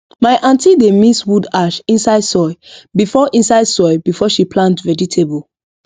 my aunty dey mix wood ash inside soil before inside soil before she plant vegetable